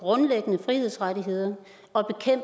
grundlæggende frihedsrettigheder og